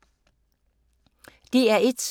DR1